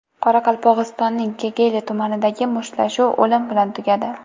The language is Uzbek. Qoraqalpog‘istonning Kegeyli tumanidagi mushtlashuv o‘lim bilan tugadi.